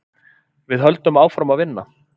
Við höldum áfram að vinna.